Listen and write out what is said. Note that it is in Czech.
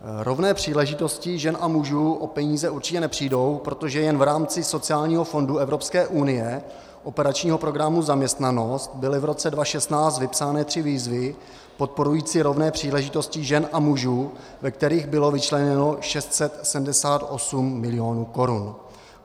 Rovné příležitosti žen a mužů o peníze určitě nepřijdou, protože jen v rámci sociální fondu Evropské unie, operačního programu Zaměstnanost, byly v roce 2016 vypsány tři výzvy podporující rovné příležitosti žen a mužů, ve kterých bylo vyčleněno 678 milionů korun.